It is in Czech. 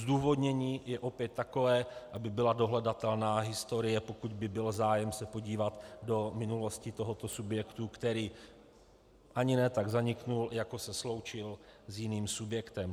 Zdůvodnění je opět takové, aby byla dohledatelná historie, pokud by byl zájem se podívat do minulosti tohoto subjektu, který ani ne tak zanikl, jako se sloučil s jiným subjektem.